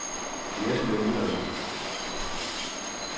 Jerslev Jylland